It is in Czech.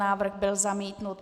Návrh byl zamítnut.